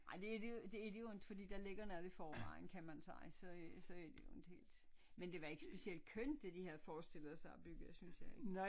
Ej det det er det jo det er det jo ikke fordi der ligger noget i forvejen kan man sige så så det er jo ikke helt men det var ikke specielt kønt det de havde forestillet sig at bygge synes jeg ikke